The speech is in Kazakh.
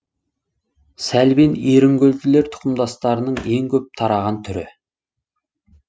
сәлбен ерінгүлділер тұқымдастарының ең көп тараған түрі